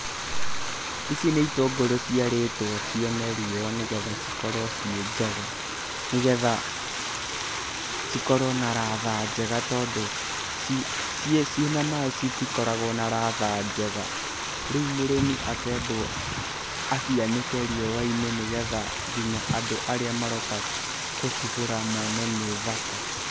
Ici nĩ itũngũrũ ciarĩtwo cione riũa nĩgetha cikorwo ciĩ njega, nĩgetha cikorwo na ratha njega tondũ ciĩ na maaĩ citikorawo na ratha njega. Rĩu mũrĩmi akendwo acianĩke riũa-inĩ nĩgetha nginya andũ arĩa maroka gũcigũra mone nĩ thaka.